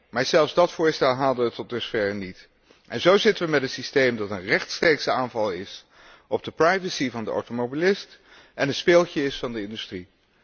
Maar zelfs dat voorstel haalde het tot dusverre niet. En zo zitten wij met een systeem dat een rechtstreekse aanval is op de privacy van de automobilist en een speeltje is van de industrie.